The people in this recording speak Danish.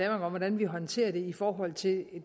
om hvordan vi håndterer det i forhold til